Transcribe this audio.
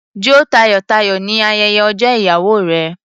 Jó tayọ̀-tayọ̀ ní ayẹyẹ ọjọ́ ìyàwó rẹ.